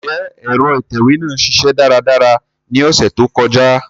Njẹ ẹ̀ro itẹwe naa ṣiṣẹ daradara ni ọsẹ to kọja?